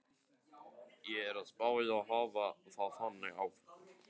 Ég er að spá í að hafa það þannig áfram.